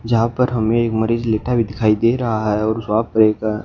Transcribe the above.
जहां पर हमें एक मरीज लेटा भी दिखाई दे रहा है और वहां पे एक--